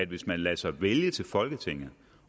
hvis man lader sig vælge til folketinget